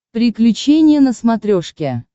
приключения на смотрешке